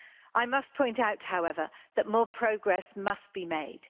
I must point out, however, that more progress must be made.